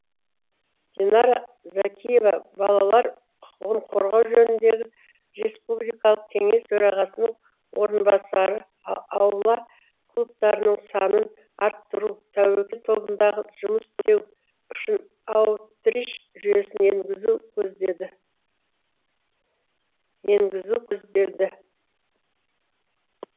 дианара зәкиева балалар құқығын қорғау жөніндегі республикалық кеңес төрағасының орынбасары аула клубтарының санын арттыру тәуекел тобындағы жұмыс істеу үшін аутрич жүйесін енгізу көзделді